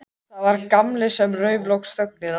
Það var bara að rölta upp tröppurnar og banka.